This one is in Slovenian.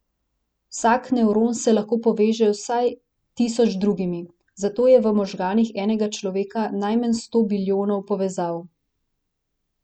Vsak nevron se lahko poveže z vsaj tisoč drugimi, zato je v možganih enega človeka najmanj sto bilijonov povezav.